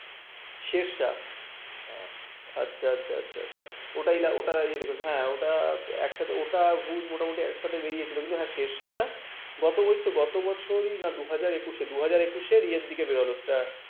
আচ্ছা আচ্ছা আচ্ছা । ওটাই ওটা দেখেছো হ্যাঁ ওটা একসাথে ওটা ভূজ একসাথে মানে বেরিয়েছিল কিন্তু হ্যাঁ শেরশাটা গত ঐতো গত বছর কুড়ি না দুই হাজার একুশে দুই হাজার একুশে year থেকে বেরোলো